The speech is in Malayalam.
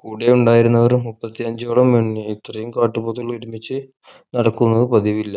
കൂടെയുണ്ടായവരും മുപ്പത്തഞ്ചോളം എണ്ണി ഇത്രയും കാട്ടുപോത്തുതുകൾ ഒരുമിച്ച് നടക്കുന്നു പതിവി ല്ല